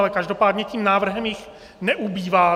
Ale každopádně tím návrhem jich neubývá.